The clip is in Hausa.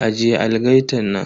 Ajiye algaitan nan.